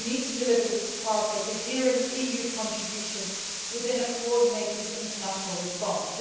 We need to deliver this as part of a coherent EU contribution within a coordinated international response.